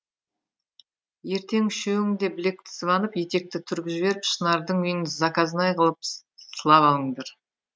ертең үшеуің де білекті сыбанып етекті түріп жіберіп шынардың үйін заказнай қылып сылап алыңдар